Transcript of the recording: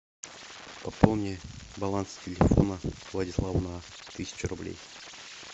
пополни баланс телефона владислава на тысячу рублей